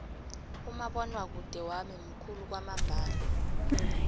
umabonwakude wami mukhulu kwamambala